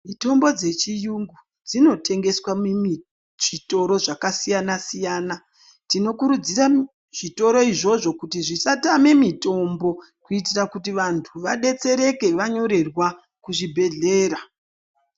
Mitombo dzechiyongo dzinotengeswa mizvitoro zvakasiyana siyana tinokurudzira zvitoro izvozvo zvisatame mitombo kuitira kuti vantu vadetsereke vanyorerwa kuzvibhedhlera.